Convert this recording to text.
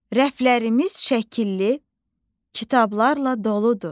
Rəflərimiz şəkilli kitablarla doludur.